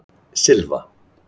Silva